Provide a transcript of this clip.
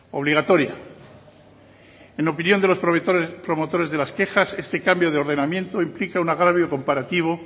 obligatoria en opinión de los promotores de las quejas este cambio de ordenamiento implica un agravio comparativo